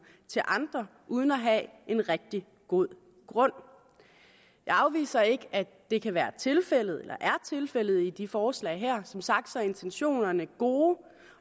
til andre uden at have en rigtig god grund jeg afviser ikke at det kan være tilfældet eller er tilfældet i de forslag her som sagt er intentionerne gode